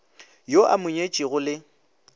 yo a mo nyetšego le